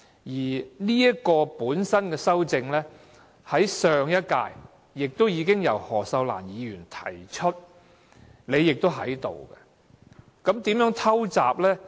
而有關的修正案，在上一屆已經由何秀蘭議員提出，當時的會議你亦在席。